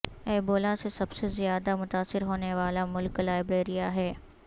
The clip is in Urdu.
ایبولا سے سب سے زیادہ متاثر ہونے والا ملک لائبیریا ہے